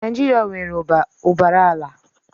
Naijiria nwere ụbara ala.